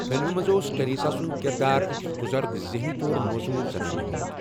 فلمہِ منٛز اوس ٹریسا سُنٛد کِردار اَکس بُزرٕگ ذٛہنی طور موزوٗر زنانہِ ہُنٛد۔